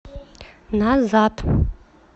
назад